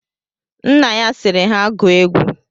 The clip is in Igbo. Nna ya sịrị ha gụọ egwu.